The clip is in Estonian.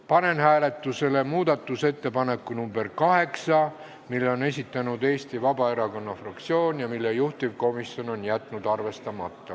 Panen hääletusele muudatusettepaneku nr 8, mille on esitanud Eesti Vabaerakonna fraktsioon ja mille juhtivkomisjon on jätnud arvestamata.